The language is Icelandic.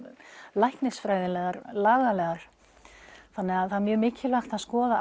læknisfræðilegar lagalegar þannig að það er mjög mikilvægt að skoða